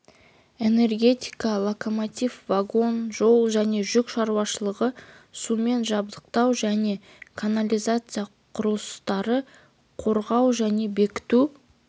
энергетика локомотив вагон жол және жүк шаруашылықтары сумен жабдықтау және канализация құрылыстары қорғау және бекіту